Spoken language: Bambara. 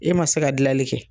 E ma se ka gilali kɛ